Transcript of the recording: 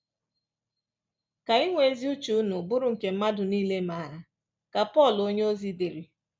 “Ka inwe ezi uche unu bụrụ nke mmadụ nile maara,” ka Pọl onyeozi dere